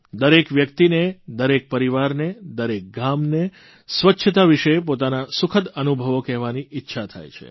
દરેક વ્યક્તિને દરેક પરિવારને દરેક ગામને સ્વચ્છતા વિષે પોતાના સુખદ અનુભવો કહેવાની ઇચ્છા થાય છે